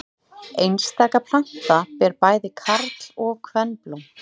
Einstaka planta ber bæði karl- og kvenblóm.